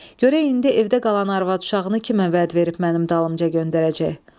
Görək indi evdə qalan arvad uşağını kimə vəd verib mənim dalımca göndərəcək.